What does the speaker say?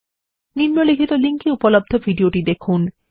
নিম্নলিখিত লিঙ্ক এ উপলব্ধ ভিডিওটি দেখুন